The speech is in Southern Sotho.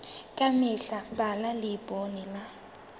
ka mehla bala leibole ya